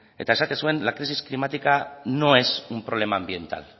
eta esaten zuen la crisis climática no es un problema ambiental